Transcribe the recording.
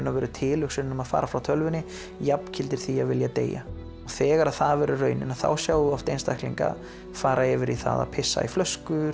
tilhugsunin um að fara frá tölvunni jafngildir því að vilja deyja þegar það verður raunin þá sjáum við oft einstaklinga fara yfir það að pissa í flöskur